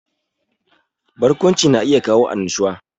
Barkwanci na iya kawo annashuwa